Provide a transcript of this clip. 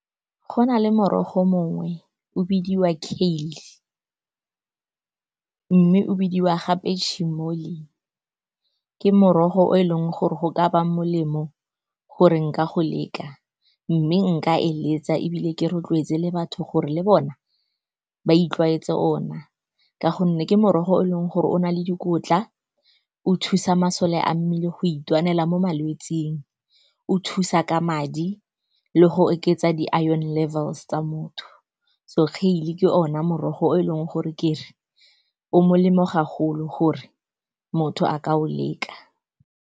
Go na le morogo mongwe o bidiwa kale-e, mme o bidiwa gape . Ke morogo o eleng gore go ka ba molemo gore nka go leka, mme nka eletsa, ebile ke rotloetse le batho gore le bona ba itlwaetsa ona. Ka gonne ke morogo o e leng gore o na le dikotla, o thusa masole a mmele go itwanela mo malwetseng, o thusa ka madi le go oketsa di-iron levels tsa motho. So, kale-e ke ono morogo o e leng gore ke re o molemo ga golo gore motho a ka o leka.